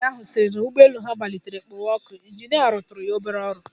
Nwaanyị ahụ sịrị na ụgbọelu ha matlitere kpowe ọkụ, ịnjinịa rụtụrụ ya obere ọrụ.